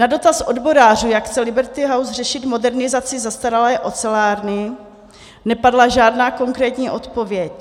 Na dotaz odborářů, jak chce Liberty House řešit modernizaci zastaralé ocelárny, nepadla žádná konkrétní odpověď.